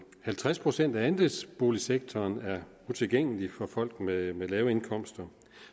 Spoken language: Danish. halvtreds procent af andelsboligsektoren er utilgængelig for folk med med lave indkomster